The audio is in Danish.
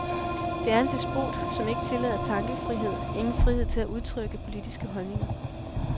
Det er en despot, som ikke tillader tankefrihed, ingen frihed til at udtrykke politiske holdninger.